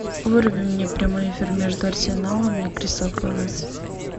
вруби мне прямой эфир между арсеналом и кристал пэлас